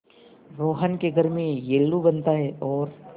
रोहन के घर में येल्लू बनता है और